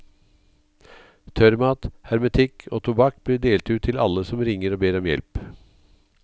Tørrmat, hermetikk og tobakk blir delt ut til alle som ringer og ber om hjelp.